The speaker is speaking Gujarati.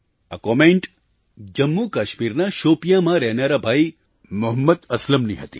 આ કૉમેન્ટ જમ્મુકાશ્મીરના શોપિયાંમાં રહેનારા ભાઈ મુહમ્મદ અસલમની હતી